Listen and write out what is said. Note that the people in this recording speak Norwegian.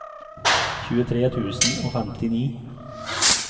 tjuetre tusen og femtini